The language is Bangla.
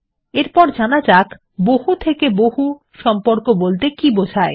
এর পরে যানা যাক বহু থেকে বহু সম্পর্ক বলতে কী বোঝায়